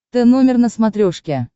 тномер на смотрешке